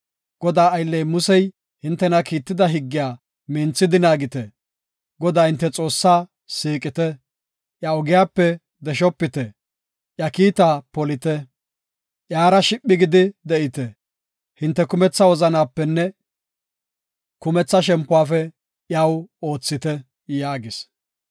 Godaa aylley Musey hintena kiitida higgiya minthidi naagite. Godaa hinte Xoossaa siiqite. Iya ogiyape deshopite; iya kiita polite. Iyara shiphi gidi de7ite; hinte kumetha wozanapenne kumetha shempuwafe iyaw oothite” yaagis.